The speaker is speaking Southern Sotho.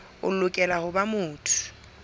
o lokela ho ba motho